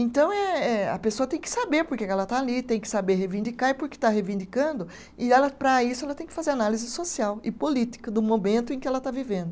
Então, eh eh a pessoa tem que saber por que que ela está ali, tem que saber reivindicar e por que está reivindicando, e ela para isso ela tem que fazer análise social e política do momento em que ela está vivendo.